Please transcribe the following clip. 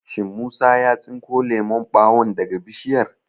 Shin Musa ya tsinko lemon ɓawon daga Bishiyar?